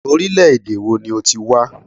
Orílẹ̀-èdè wo ni o ti wá?